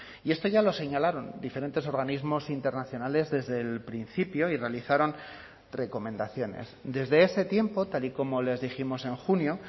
y esto ya lo señalaron diferentes organismos internacionales desde el principio y realizaron recomendaciones desde ese tiempo tal y como les dijimos en junio